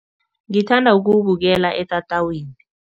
Ngithanda ukuwubukela etatawini.